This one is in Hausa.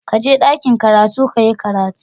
Kaje dakin karatu kayi karatu.